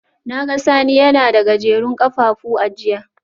Na ga Sani yana da Gajerun kafafu a jiya